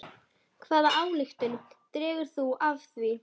Hvaða ályktun dregur þú af því?